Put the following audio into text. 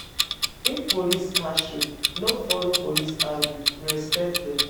If police catch you, no follow police argue respect dem